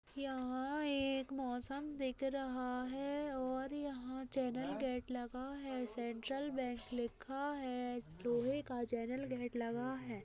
यहाँ एक मौसम दिख रहा है और यहाँ चैनल गेट लगा है सेंट्रल_बैंक लिखा है लोहे का चैनल गेट लगा है।